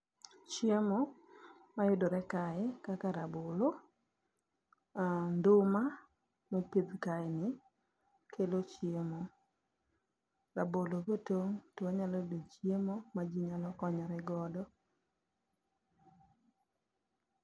Chiemo mayudore kae kaka rabolo, nduma mopidh kae ni kelo chiemo. Rabolo kotong' to wanyalo yudo chiemo ma ji nyalo konyore godo.